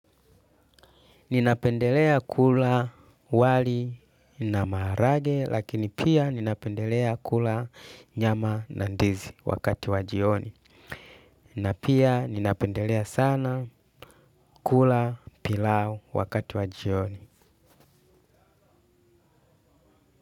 Ninapendelea kula wali na maharage lakini pia ninapendelea kula nyama na ndizi wakati wa jioni. Na pia ninapendelea sana kula pilau wakati wa jioni.